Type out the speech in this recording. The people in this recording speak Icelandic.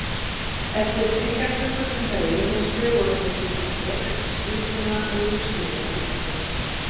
Eftir þriggja klukkustunda yfirheyrslu voru þeir búnir að vélrita skýrsluna og ég skrifaði undir.